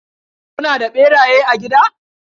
Kuna da ɓeraye a gida?